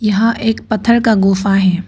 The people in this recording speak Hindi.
यहां एक पत्थर का गुफा है।